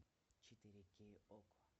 четыре кей окко